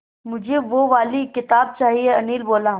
मुझे वो वाली किताब चाहिए अनिल बोला